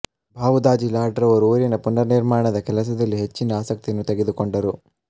ಭಾವುದಾಜಿ ಲಾಡ್ ರವರು ಊರಿನ ಪುನರ್ ನಿರ್ಮಾಣದ ಕೆಲಸದಲ್ಲಿ ಹೆಚ್ಚಿನ ಆಸಕ್ತಿಯನ್ನು ತೆಗೆದುಕೊಂಡರು